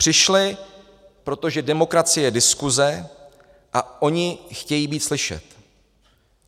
Přišli, protože demokracie je diskuse a oni chtějí být slyšet.